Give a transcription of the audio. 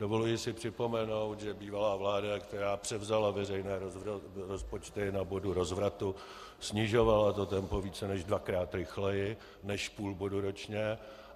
Dovoluji si připomenout, že bývalá vláda, která převzala veřejné rozpočty na bodu rozvratu, snižovala to tempo více než dvakrát rychleji než půl bodu ročně.